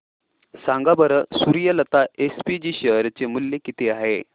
सांगा बरं Suryalata SPG share चे मूल्य किती आहे